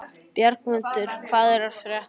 Bjargmundur, hvað er að frétta?